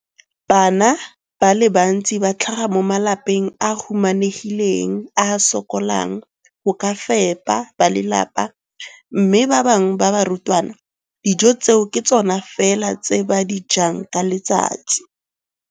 Bana ba le bantsi ba tlhaga mo malapeng a a humanegileng a a sokolang go ka fepa ba lelapa mme ba bangwe ba barutwana, dijo tseo ke tsona fela tse ba di jang ka letsatsi.